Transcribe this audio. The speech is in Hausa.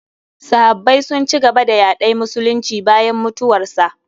Sahabbai sun ci gaba da yaɗay musulunci bayan mutuwarsa.